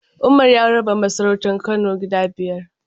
Umar ya raba masarautar Kano gida biyar.